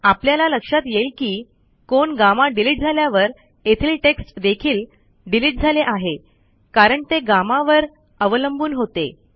आपल्याला लक्षात येईल की कोन गम्मा डिलिट झाल्यावर येथील टेक्स्ट देखील डिलिट झाले आहे कारण ते गम्मा वर अवलंबून होते